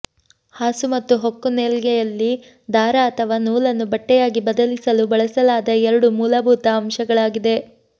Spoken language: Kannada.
ಹಾಸು ಮತ್ತು ಹೊಕ್ಕು ನೆಯ್ಗೆಯಲ್ಲಿ ದಾರ ಅಥವಾ ನೂಲನ್ನು ಬಟ್ಟೆಯಾಗಿ ಬದಲಿಸಲು ಬಳಸಲಾದ ಎರಡು ಮೂಲಭೂತ ಅಂಶಗಳಾಗಿವೆ